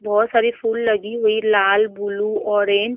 बहोत सारी फूल लगी हुई लाल ब्लू ऑरेंज --